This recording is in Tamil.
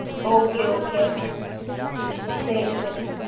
okay okay mam சரி சரி